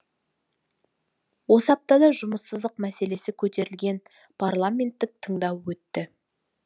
осы аптада жұмыссыздық мәселесі көтерілген парламенттік тыңдау өтті